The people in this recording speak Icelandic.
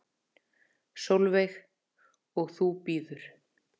Sólveig: Og þú bíður?